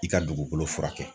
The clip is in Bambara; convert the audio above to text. I ka dugukolo furakɛ.